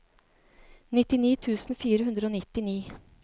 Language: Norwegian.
nittini tusen fire hundre og nittini